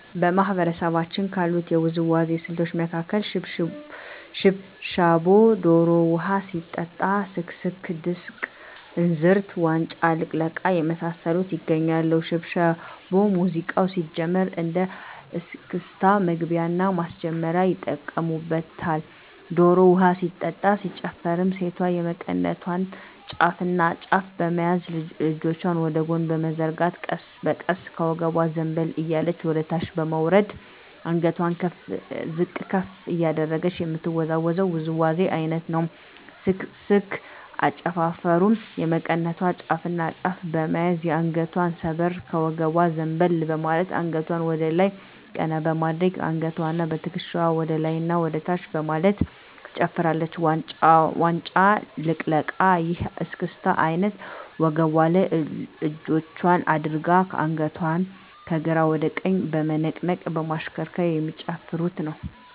በማህበረሰባችን ካሉት የውዝዋዜ ስልቶች መካከል ሽብሻቦ ዶሮ ውሀ ሲጠጣ ስክስክ ድስቅ እንዝርት ዋንጫ ልቅለቃ የመሳሰሉት ይገኛሉ። ሽብሻቦ ሙዚቃው ሲጀምር እንደ እስክስታ መግቢያና ማስጀመሪያ ይጠቀሙበታል። ዶሮ ውሀ ሲጠጣ ሲጨፈርም ሴቷ የመቀነቷን ጫፍና ጫፍ በመያዝ እጆቿን ወደ ጎን በመዘርጋት ቀስ በቀስ ከወገቧ ዘንበል እያለች ወደታች በመውረድ አንገቷን ዝቅ ከፍ እያደረገች የምትወዛወዘው ውዝዋዜ አይነት ነው። ስክስክ አጨፋፈሩም የመቀነቷን ጫፍና ጫፍ በመያዝ ከአንገቷ ሰበር ከወገቧ ዘንበል በማለት አንገቷን ወደላይ ቀና በማድረግ በአንገትዋና በትክሻዋ ወደላይና ወደታች በማለት ትጨፍራለች። ዋንጫ ልቅለቃ ይህ የእስክስታ አይነት ወገቧ ላይ እጆቿን አድርጋ አንገቷን ከግራ ወደ ቀኝ በመነቅነቅ በማሽከርከር የሚጨፍሩት ነው።